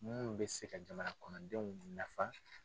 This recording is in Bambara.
Mun bɛ se ka jamana kɔnɔndenw nafa.